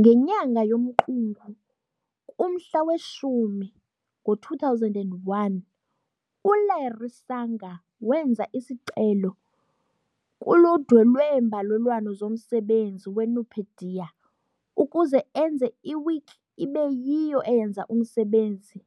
Ngenyanga yomQungu, kumhla we-10, ngo-2001, U-Larry Sanger wenza isicelo kuludwe leembalelwano zomsebenzi weNupedia ukuze enze iwiki ibe yiyo eyenza umsebenzi